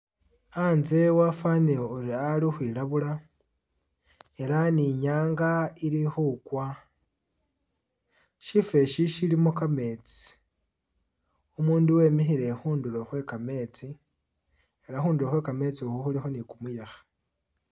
A'nze wafanile ori ali khukhwilabula ela ni nyanga ili khukwa shifo eshi shilimo kameetsi umundu wemikhile khundulo khwekameetsi ela khundulo khwekameetsi khu khulikho ni kumuyekhe